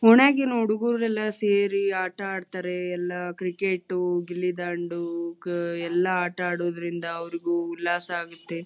ಒಣ್ಯಾಗಿಂದ ಹುಡುಗ್ರು ಎಲ್ಲ ಸೇರಿ ಆಟ ಆಡ್ತಾರೆ ಎಲ್ಲಾ ಕ್ರಿಕಟು ಗಿಲ್ಲಿದಾಂಡು ಎಲ್ಲಾ ಆಟ ಆಡೂದ್ರಿಂದ ಅವ್ರಿಗೂ ಉಲ್ಲಾಸ ಆಗುತ್ತೆ.